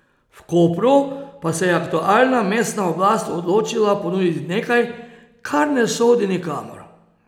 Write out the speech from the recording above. V Kopru pa se je aktualna mestna oblast odločila ponuditi nekaj, kar ne sodi nikamor.